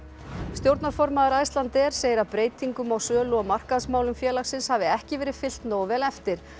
stjórnarformaður Icelandair segir að breytingum á sölu og markaðsmálum félagsins hafi ekki verið fylgt nógu vel eftir